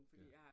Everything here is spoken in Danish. Ja